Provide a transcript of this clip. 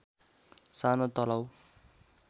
सानो तलाउ